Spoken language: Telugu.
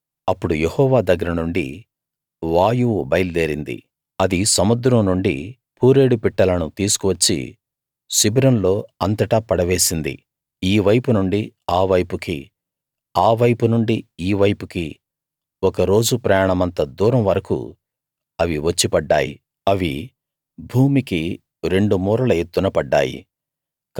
అప్పుడు యెహోవా దగ్గరనుండి వాయువు బయల్దేరింది అది సముద్రం నుండి పూరేడు పిట్టలను తీసుకు వచ్చి శిబిరంలో అంతటా పడవేసింది ఈ వైపునుండి ఆ వైపుకీ ఆ వైపునుండి ఈ వైపుకీ ఒక రోజు ప్రయాణమంత దూరం వరకూ అవి వచ్చి పడ్డాయి అవి భూమికి రెండు మూరల ఎత్తున పడ్డాయి